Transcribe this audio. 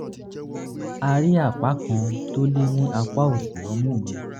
a rí apá kan tó le ní apá òsì ọmú mi